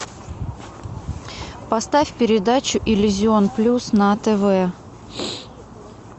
поставь передачу иллюзион плюс на тв